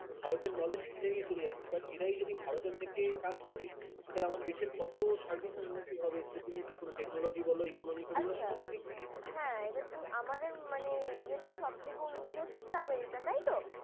ভারতের knowledge কে নিয়ে চলে যাচ্ছে ভাট এরাই যদি ভারতের থেকে কাজ করে তারা দেশের কত সার্বিক উন্নতি হবে যেকোনো তুমি technology বলো economic কে বল আচ্ছা সব দিক দিয়ে হ্যাঁ এবার তুমি আমাদের মানে ইয়াতে সবথেকে অন্য দেশ হচ্ছে আমেরিকা তাইতো?